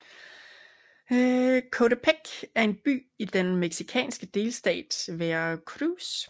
Coatepec er en by i den mexicanske delstat Veracruz